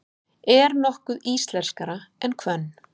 Er nokkuð íslenskara en hvönn?